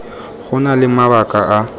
go na le mabaka a